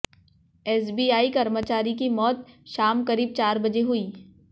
SBI कर्मचारी की मौत शाम करीब चार बजे हुई